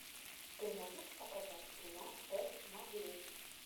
ты можешь показать кино тест на беременность